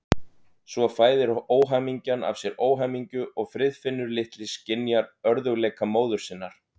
Svo fæðir óhamingjan af sér óhamingju og Friðfinnur litli skynjar örðugleika móður sinnar.